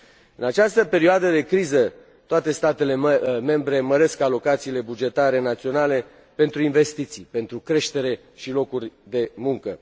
În această perioadă de criză, toate statele membre măresc alocațiile bugetare naționale pentru investiții, pentru creștere și locuri de muncă.